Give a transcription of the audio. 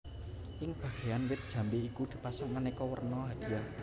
Ing Bagean wit jambe iku di pasang aneka werna hadiah